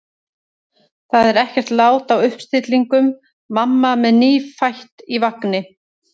Það er ekkert lát á uppstillingum: mamma með nýfætt í vagni.